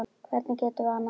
Hvernig getum við annað?